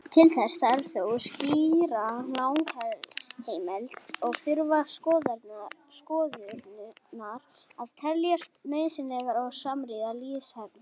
Til þess þarf þó skýra lagaheimild og þurfa skorðurnar að teljast nauðsynlegar og samrýmast lýðræðishefðum.